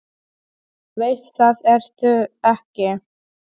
Veist að það ertu ekki.